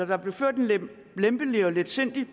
der blev ført en lempelig og letsindig